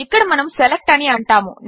ఇక్కడ మనము సెలెక్ట్ అని అంటాము